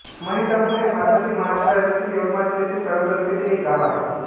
महितापूर हे भारतातील महाराष्ट्र राज्यातील यवतमाळ जिल्ह्यातील कळंब तालुक्यातील एक गाव आहे